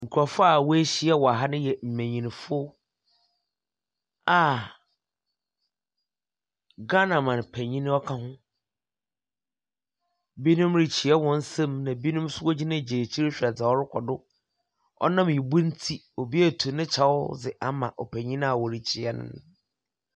Nkrɔfo a wehyia wɔ ha no yɛ mmanynfo a Ghana man panyin ɔka ho. Bi nom rekyia wɔn sɛm ɛna bi nom nso wogyinagyina ekyir hwɛ da ɔrekɔ do. Ɔnam ibu nti, obi etu nekyɛw di ama ɔpanyin a wɔrekyia no.